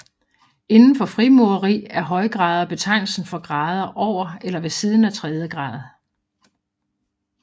Inden for frimureri er højgrader betegnelsen for grader over eller ved siden af tredje grad